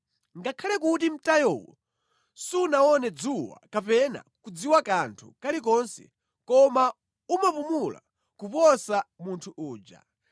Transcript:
Ngakhale kuti mtayowo sunaone dzuwa kapena kudziwa kanthu kalikonse, koma umapumula kuposa munthu uja,